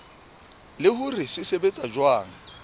le hore se sebetsa jwang